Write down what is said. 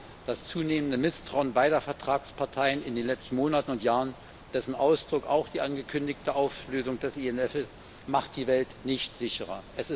Und ja, das zunehmende Misstrauen beider Vertragsparteien in den letzten Monaten und Jahren, dessen Ausdruck auch die angekündigte Auflösung des INF Vertrags ist, macht die Welt nicht sicherer.